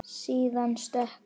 Síðan stökk hann.